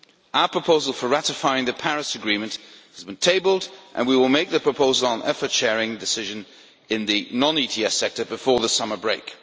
Our proposal for ratifying the Paris agreement has been tabled and we will make the proposal on the Effort Sharing Decision for the non ETS sector before the summer break.